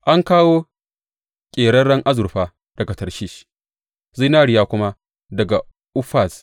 An kawo ƙeraren azurfa daga Tarshish zinariya kuma daga Ufaz.